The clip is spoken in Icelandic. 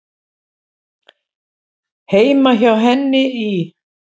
Heima hjá henni í